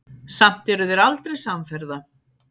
Samt eru þeir aldrei samferða.